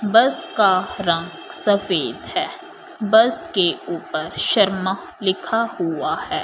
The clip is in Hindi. बस का रंग सफेद है बस के ऊपर शर्मा लिखा हुआ है।